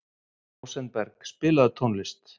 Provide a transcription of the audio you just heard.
Rósenberg, spilaðu tónlist.